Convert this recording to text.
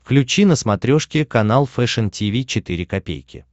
включи на смотрешке канал фэшн ти ви четыре ка